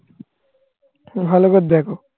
ভালো করে দেখো